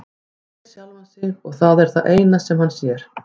Hann sér sjálfan sig og það er það eina sem hann sér.